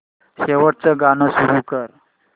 शेवटचं गाणं सुरू कर